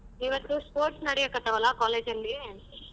ಇವತ್ತು sports ನಡೆಯಕ್ಹತ್ತವಲ್ಲ college ಅಲ್ಲಿ.